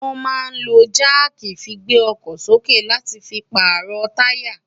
wọ́n máa ń lo jáàkì fi gbé ọkọ̀ sókè láti fi pààrọ̀ táyà.